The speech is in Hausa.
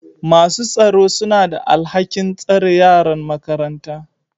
masu tsaro suna da alhakin tsare yaran makaranta